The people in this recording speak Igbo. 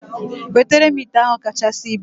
Wetere m ite ahụ kachasị ibu!